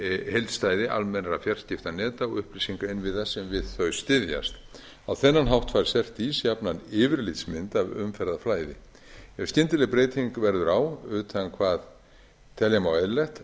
heildstæðri almennra fjarskiptaneta og upplýsingainnviða sem við þau styðjast á þennan hátt fær cert ís jafnan yfirlitsmynd af umferðarflæði ef skyndileg breyting verður á utan hvað telja má eðlilegt